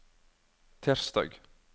tirsdag